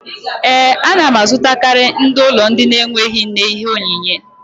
Ee, a na m azụtakarị ndị ụlọ ndị na-enweghị nne ihe onyinyé